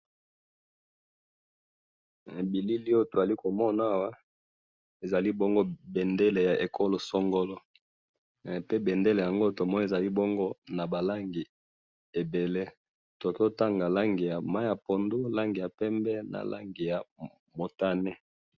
Eh! bilili oyo tozali komona awa, ezali bendela ya ekolo songolo, pe bendele yango tomoni ezali bongo nabalangi ebele, tokoki kotanga langi ya mayi pondu, langi ya pembe na langi ya mutane.